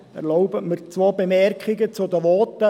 Erlauben Sie mir zwei Bemerkungen zu den Voten.